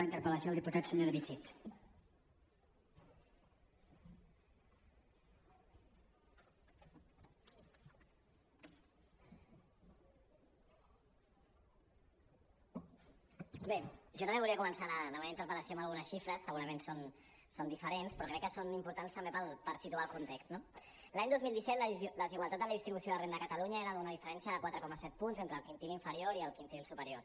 jo també volia començar la meva interpel·lació amb algunes xifres segurament són diferents però crec que són importants també per situar el context no l’any dos mil set la desigualtat en la distribució de la renda a catalunya era d’una diferència de quatre coma set punts entre el quintil inferior i el quintil superior